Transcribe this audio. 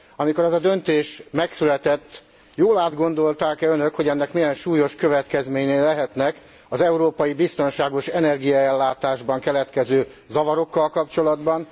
Amikor ez a döntés megszületett, jól átgondolták e Önök, hogy ennek milyen súlyos következményei lehetnek az európai biztonságos energiaellátásban keletkező zavarokkal kapcsolatban?